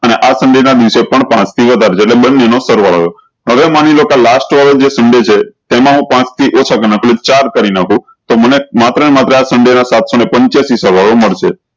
અને આ સંસંડે ના દિવસે પણ પાંચ થી વધાર છે એટલે બન્ને નો સરવાળો હવે માની લો કે આ last વાળું જે સંડે છે તેમાં હું પાંચ થી ઓછા ગણાતું એટલી ચાર કરી નાખો તો મને માત્ર ને માત્ર આ સન્ડે ના સાત સૌ પન્ચ્ચ્યાસી સરવાળો મળશે